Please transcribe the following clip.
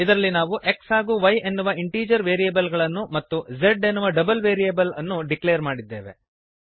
ಇದರಲ್ಲಿ ನಾವು x ಹಾಗೂ y ಎನ್ನುವ ಇಂಟೀಜರ್ ವೇರಿಯಬಲ್ ಗಳನ್ನು ಮತ್ತು z ಎನ್ನುವ ಡಬಲ್ ವೇರಿಯಬಲ್ ಅನ್ನು ಡಿಕ್ಲೇರ್ ಮಾಡಿದ್ದೇವೆ